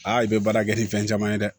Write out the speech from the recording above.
Aa i bɛ baara kɛ ni fɛn caman ye dɛ